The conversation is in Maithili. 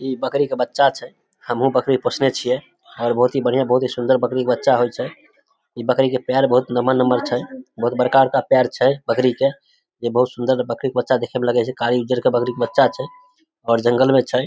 इ बकरी के बच्चा छै हम्हूं बकरी पोसने छीये और बहुत ही बढ़िया बहुत ही सुंदर बकरी के बच्चा होय छै इ बकरी के पैर बहुत नम्हर नम्हर छै बहुत बड़का-बड़का पैर छै बकरी के जे बहुत सुंदर बकरी के बच्चा देखे मे लगे छै कारी उज्जर के बकरी के बच्चा छै और जंगल में छै।